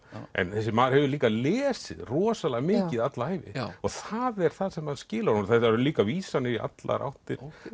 en þessi maður hefur líka lesið rosalega mikið alla ævi og það er það sem skilar honum þarna eru líka vísanir í allar áttir